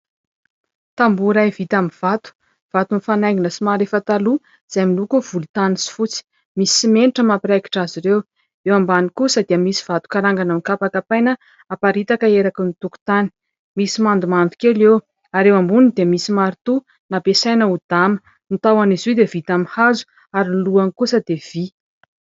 Tamboho iray vita amin'ny vato, vato mifanaingina somary efa taloha, izay miloko volontany sy fotsy ; misy simenitra mampiraikitra azy ireo. Eo ambany kosa dia misy vato karangana nokapakapaina, naparitaka eraky ny tokontany ; misy mandomando kely eo. Ary eo amboniny dia misy marito, napiasaina ho dama, ny tahon'izy io dia vita amin'ny hazo, ary ny lohany kosa dia vy.